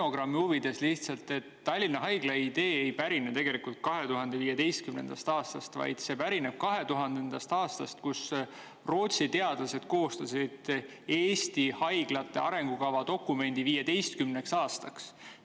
Stenogrammi huvides lihtsalt, et Tallinna Haigla idee ei pärine tegelikult 2015. aastast, vaid see pärineb 2000. aastast, kui Rootsi teadlased koostasid Eesti haiglate arengukava dokumendi 15 aastaks.